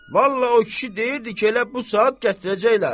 vallah o kişi deyirdi ki, elə bu saat gətirəcəklər.